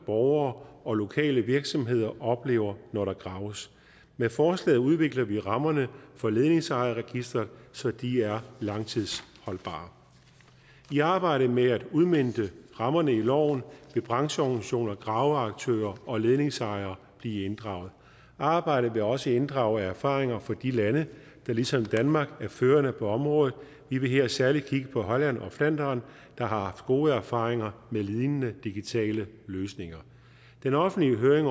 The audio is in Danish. borgere og lokale virksomheder oplever når der graves med forslaget udvikler vi rammerne for ledningsejerregisteret så de er langtidsholdbare i arbejdet med at udmønte rammerne i loven vil brancheorganisationer og graveaktører og ledningsejere blive inddraget arbejdet vil også inddrage erfaringer fra de lande der ligesom danmark er førende på området vi vil her særlig kigge på holland og flandern der har haft gode erfaringer med lignende digitale løsninger den offentlige høring